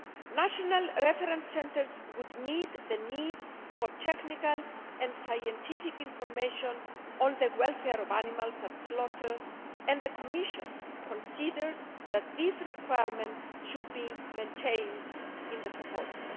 National reference centres would meet the need for technical and scientific information on the welfare of animals at slaughter and the Commission considers that this requirement should be maintained in the proposal.